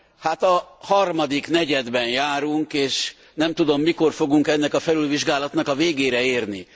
Hát a harmadik negyedben járunk és nem tudom, mikor fogunk ennek a felülvizsgálatnak a végére érni.